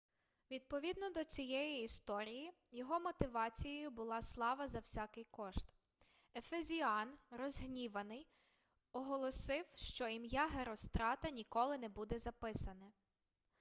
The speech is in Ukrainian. відповідно до цієї історії його мотивацією була слава за всякий кошт ефезіан розгніваний оголосив що ім'я герострата ніколи не буде записане